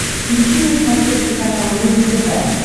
включи на смотрешке канал рубль тв